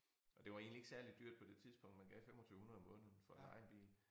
Og det var egentlig ikke særlig dyrt på det tidspunkt man gav 2500 om måneden for at leje en bil